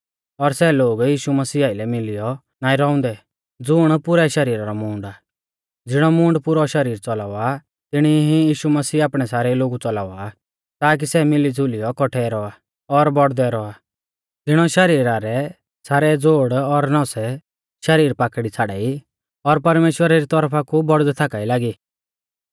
और सै लोग यीशु मसीह आइलै मिलियौ नाईं रौउंदै ज़ुण पुरै शरीरा रौ मूंड आ ज़िणौ मूंड पुरौ शरीर च़ौलावा तिणी ई यीशु मसीह आपणै सारै लोगु च़ौलावा ताकी सै मिलीज़ुलियौ कौट्ठै रौआ और बौड़दै रौआ ज़िणौ शरीरा री सारै ज़ोड़ और नौसै शरीर पाकड़ी छ़ाड़ाई और परमेश्‍वरा री तौरफा कु बौड़दै थाका ई लागी